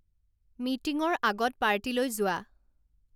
মিটিংৰ আগত পাৰ্টীলৈ যোৱা